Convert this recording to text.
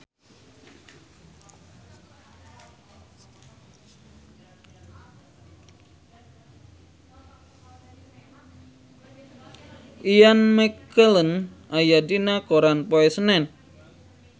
Ian McKellen aya dina koran poe Senen